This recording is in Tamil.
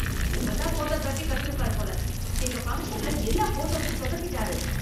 இப்பத்தான் போட்டோகிராஃபி கத்திருப்பார் போல, எங்க ஃபங்க்ஷன்ல எல்லா ஃபோட்டோவையும் சொதப்பிட்டாரு.